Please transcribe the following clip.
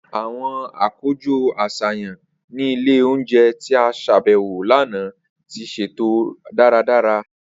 Awọn akojọ aṣayan ni ile ounjẹ ti a ṣabẹwo lana ti ṣeto daradara.